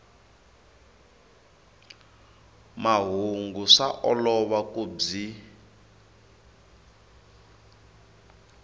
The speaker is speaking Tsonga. mahungu swa olova ku byi